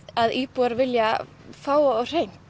að íbúar vilji fá á hreint